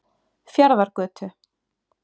Fjarðargötu